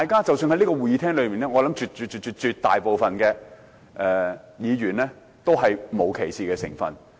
即使在這個會議廳裏面，我相信絕大部分議員也沒有歧視同性戀者。